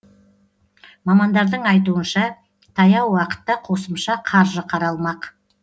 мамандардың айтуынша таяу уақытта қосымша қаржы қаралмақ